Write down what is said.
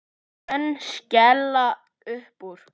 Menn skella uppúr.